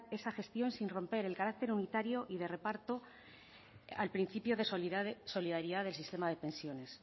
esa gestión sin romper el carácter unitario y de reparto al principio de solidaridad del sistema de pensiones